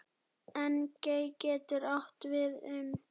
Engey getur átt við um